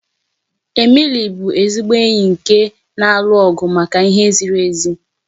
Emily bụ ezigbo enyi nke na-alụ ọgụ maka ihe ziri ezi.